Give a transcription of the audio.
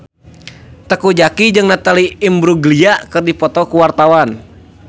Teuku Zacky jeung Natalie Imbruglia keur dipoto ku wartawan